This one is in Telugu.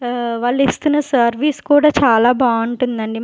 ఆ వాళ్ళు ఇస్తున్న సర్వీస్ కూడా చాలా బావుంటుందండి.